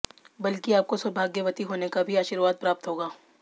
बल्कि आपको सौभाग्यवती होने का भी आर्शीवाद प्राप्त होगा